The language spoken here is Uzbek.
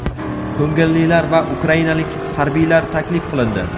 ko‘ngillilar va ukrainalik harbiylar taklif qilindi.